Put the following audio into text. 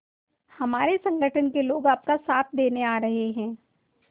हमारे संगठन के लोग आपका साथ देने आ रहे हैं